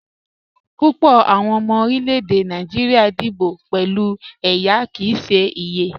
Púpọ̀ awọn ọmọ orílẹ̀-èdè Nàìjíríà díbò pẹ̀lú ẹyá kí í ṣè iyẹ.